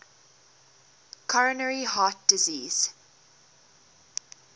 coronary heart disease